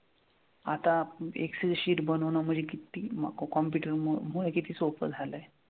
आता excel sheet बनवणं म्हणजे किती computer मुले किती सोपं झालंय.